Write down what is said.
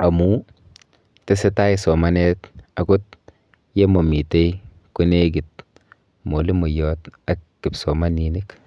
amu tesetai somanet akot yemamite konekit mwalimoiyot ak kipsomaninik.